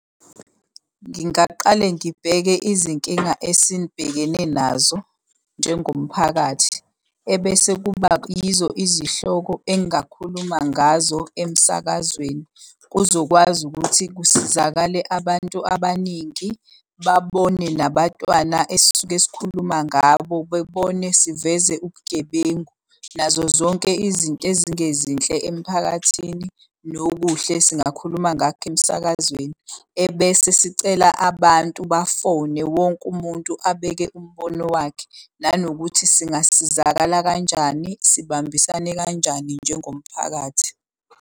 Ngingaqale ngibheke izinkinga esibhekene nazo njengomphakathi, ebese kuba yizo izihloko engingakhuluma ngazo emsakazweni. Kuzokwazi ukuthi kusizakale abantu abaningi, babone nabatwana esisuke sikhuluma ngabo, bebone siveze ubugebengu nazo zonke izinto ezingezinhle emphakathini, nokuhle singakhuluma ngakho emsakazweni ebese sicela abantu bafone. Wonke umuntu abeke umbono wakhe, nanokuthi singasizakala kanjani, sibambisane kanjani njengomphakathi.